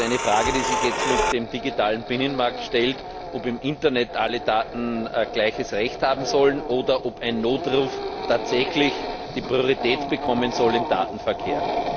Das ist eine Frage, die sich jetzt mit dem digitalen Binnenmarkt stellt, ob im Internet alle Daten gleiches Recht haben sollen oder ob ein Notruf tatsächlich die Priorität bekommen soll im Datenverkehr.